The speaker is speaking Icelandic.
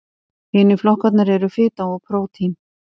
Hinir flokkarnir eru fita og prótín.